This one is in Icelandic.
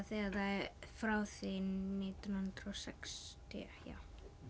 frá því nítján hundruð og sextíu já